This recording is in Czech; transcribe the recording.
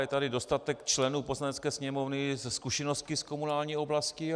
Je tady dostatek členů Poslanecké sněmovny se zkušenostmi z komunální oblasti.